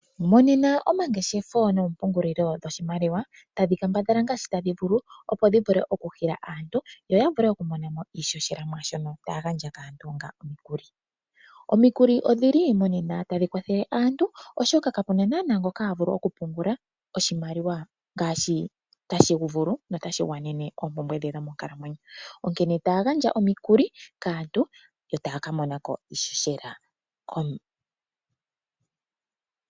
Monena omangeshefelo noompungulilo dhoshimaliwa tadhi kambadhala ngaashi tadhi vulu opo dhivule oku hila aantu dho dhivule okumonamo iishoshela mwaashono taya gandja kaantu onga omikuli. omikuli odhili monena tadhi kwathele aantu ,oshoka kapena naana ngoka havulu oku pungula oshimaliwa ngaashi tashivulu no tashi gwanene oompumbwe dhetu dhomonkalamwenyo onkene taya gandja omikuli kaantu e taya kamonako iishoshela .